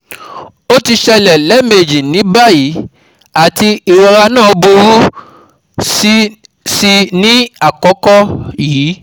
O ti ṣẹlẹ lẹẹmeji ni bayi ati irora naa buru si ni akoko yii